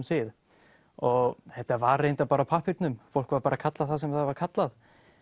sið og þetta var reyndar bara á pappírnum fólk var bara kallað það sem það var kallað